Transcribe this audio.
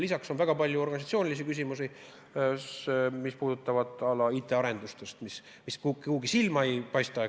Lisaks on väga palju organisatsioonilisi küsimusi, mis puudutavad näiteks IT-arendusi, mis kuidagi silma ei torka, eks ole.